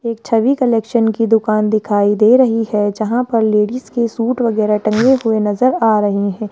एक छवि कलेक्शन की दुकान दिखाई दे रही है जहां पर लेडिस के सूट वगैरह टंगे हुए नजर आ रहे हैं।